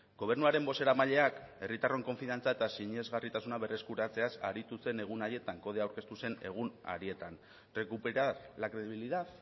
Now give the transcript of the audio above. gobernuaren bozeramaileak herritarron konfiantza eta sinesgarritasuna berreskuratzeaz aritu zen egun haietan kodea aurkeztu zen egun harietan recuperar la credibilidad